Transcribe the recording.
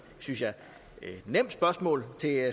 synes jeg nemt spørgsmål til